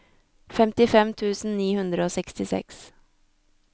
femtifem tusen ni hundre og sekstiseks